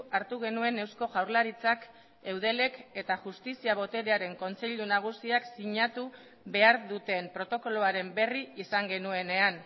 hartu genuen eusko jaurlaritzak eudelek eta justizia boterearen kontseilu nagusiak sinatu behar duten protokoloaren berri izan genuenean